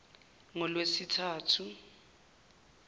ngolwesithathu